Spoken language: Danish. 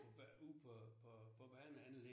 Ude på på på baneanlægget